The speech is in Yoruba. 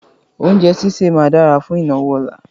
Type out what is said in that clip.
Oúnjẹ sísẹ̀ máa dára fún ìnáwó ọ̀la.